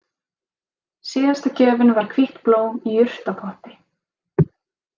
Síðasta gjöfin var hvítt blóm í jurtapotti